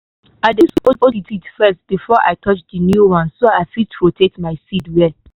i dey seed first before i touch the new one so i fit rotate my seed well.